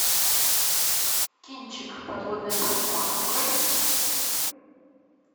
кинчик подводная братва открой